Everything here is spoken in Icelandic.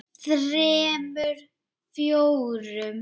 þremur. fjórum.